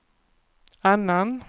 annan